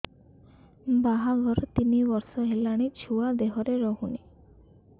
ବାହାଘର ତିନି ବର୍ଷ ହେଲାଣି ଛୁଆ ଦେହରେ ରହୁନି